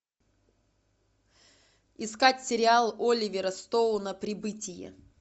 искать сериал оливера стоуна прибытие